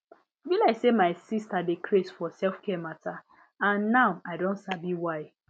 e be like say my sister dey craze for selfcare matter and now i don sabi why